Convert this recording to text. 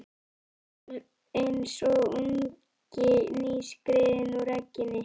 Hún var eins og ungi nýskriðinn úr egginu.